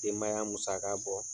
Denbaya musaka bɔ.